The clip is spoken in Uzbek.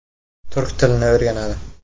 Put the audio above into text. Turk tilini o‘rganadi.